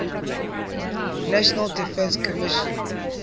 national defense commission